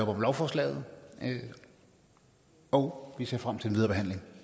om lovforslaget og vi ser frem til den videre behandling